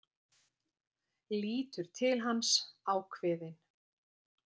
Lítur til hans, ákveðin.